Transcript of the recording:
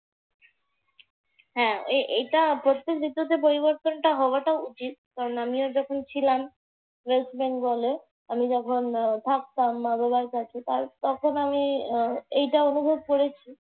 হ্যাঁ এখানে প্রত্যেক ঋতুতে পরিবর্তনটা হওয়াটা উচিত। কারণ আমিও যখন ছিলাম ওয়েস্ট বেঙ্গলে। আমি যখন থাকতাম মা-বাবার কাছে তখন আমি আহ এইটা অনুভব করেছি।